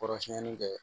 Kɔrɔsiyɛnni kɛ